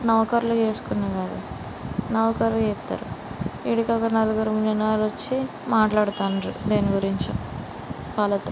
నౌకరులు జేస్కున్న గద. నౌకరులు జెత్తారు. ఇడికొక నల్గురు మీనారొచ్చి మాట్లాడ్తాన్రు దీని గురించో వాళ్ళతో.